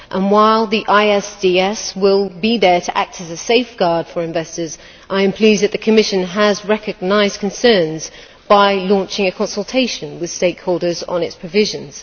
While the ISDS will be there to act as a safeguard for investors, I am pleased that the Commission has recognised concerns by launching a consultation with stakeholders on its provisions.